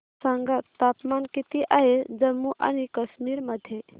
सांगा तापमान किती आहे जम्मू आणि कश्मीर मध्ये